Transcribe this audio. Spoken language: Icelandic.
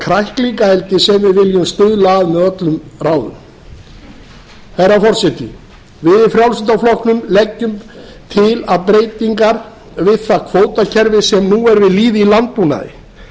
kræklingaeldi sem við viljum stuðla að með öllum ráðum herra forseti við í frjálslynda flokknum leggjum til breytingar við það kvótakerfi sem nú er við lýði í landbúnaði